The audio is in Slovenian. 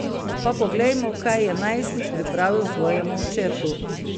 Pa poglejmo, kaj je najstnik pripravil svojemu očetu.